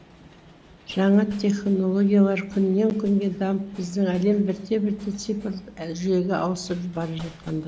жаңа технологиялар күннен күнге дамып біздің әлем бірте бірте цифрлық жүйеге ауысып бара жатқандай